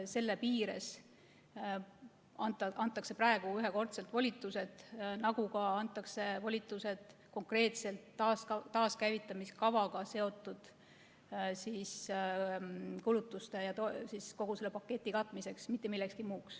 Selle piires antakse praegu ühekordsed volitused, nagu antakse volitused ka konkreetselt taaskäivitamiskavaga seotud kulutuste ja kogu selle paketi katmiseks, mitte millekski muuks.